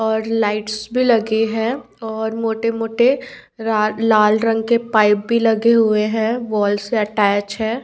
और लाइट्स भी लगे है और मोठे मोठे लाल रंग के पाइप्स भी लगे हुए है बॉईस अटैच है।